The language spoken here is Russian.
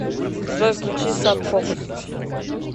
джой включи саб фокус